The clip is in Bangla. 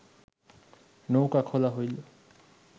নৌকা খোলা হইল